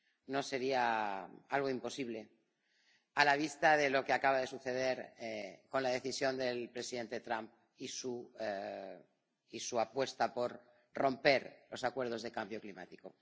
No sería algo imposible, a la vista de lo que acaba de suceder con la decisión del presidente Trump y su apuesta por romper los acuerdos sobre el cambio climático.